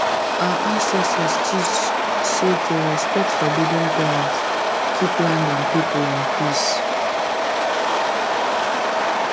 our ancestors teach say to respect forbidden plants keep land and people in peace